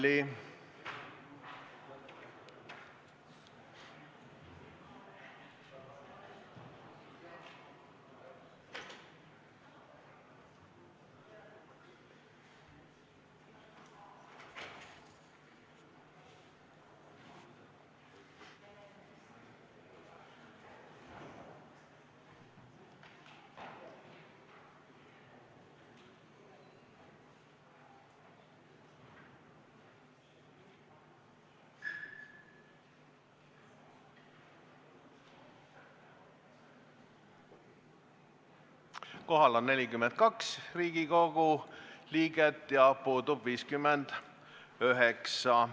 Kohaloleku kontroll Kohal on 42 Riigikogu liiget ja puudub 59.